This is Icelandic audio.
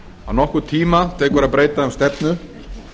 að nokkurn tíma tekur að breyta um stefnu